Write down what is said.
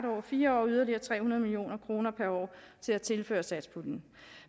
over fire år og yderligere tre hundrede million kroner per år til at tilføre satspuljen